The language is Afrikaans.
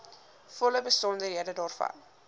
volle besonderhede daarvan